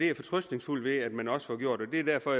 jeg fortrøstningsfuld ved at man også får gjort det er derfor